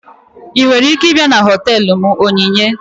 Ị nwere ike ịbịa na họtelu m Onyinye?